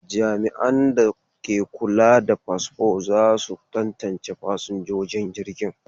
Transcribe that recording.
Jami'an da ke kula da fasfo za su tantance fasinjojin jirgin.